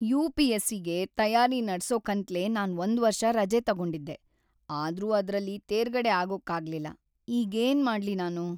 ಯು.ಪಿ.ಎಸ್.ಸಿ.ಗೆ ತಯಾರಿ ನಡ್ಸೋಕಂತ್ಲೇ ನಾನ್ ಒಂದ್ವರ್ಷ ರಜೆ ತಗೊಂಡಿದ್ದೆ, ಆದ್ರೂ ಅದ್ರಲ್ಲಿ ತೇರ್ಗಡೆ ಆಗೋಕಾಗ್ಲಿಲ್ಲ. ಈಗೇನ್‌ ಮಾಡ್ಲಿ ನಾನು?